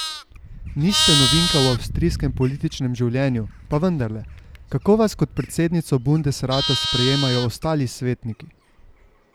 Niste novinka v avstrijskem političnem življenju, pa vendarle, kako vas kot predsednico bundesrata sprejemajo ostali svetniki?